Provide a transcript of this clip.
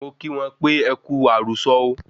Mo kí wọn pe e Kú àrùsọ̀ o